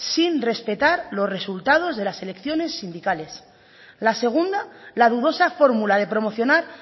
sin respetar los resultados de las elecciones sindicales la segunda la dudosa fórmula de promocionar